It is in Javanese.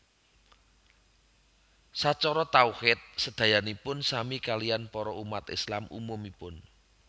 Sacara tauhid sedayanipun sami kaliyan para umat Islam umumipun